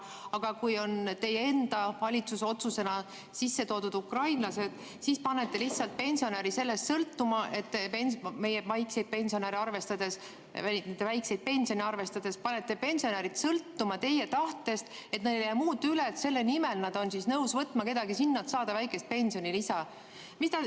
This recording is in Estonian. Aga kui on teie enda valitsuse otsusena sisse toodud ukrainlased, siis panete lihtsalt pensionäri sellest sõltuma, meie väikseid pensione arvestades – panete pensionärid sõltuma teie tahtest, nii et neil ei jää muud üle, kui nad on selle nimel nõus võtma kedagi enda juurde, et saada väikest pensionilisa.